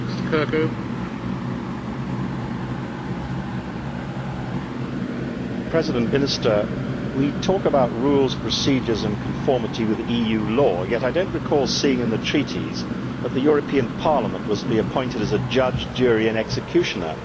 Mr President, we talk about rules, procedures and conformity with EU law, yet I do not recall seeing in the Treaties that the European Parliament was to be appointed judge, jury and executioner.